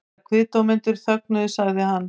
Þegar kviðdómendur þögnuðu sagði hann